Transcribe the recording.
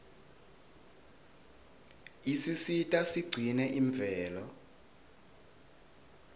isisita sigcine imvelo